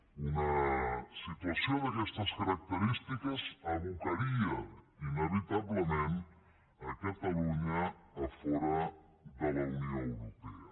una situació d’aquestes característiques abocaria inevitablement catalunya a fora de la unió europea